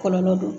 Kɔlɔlɔ do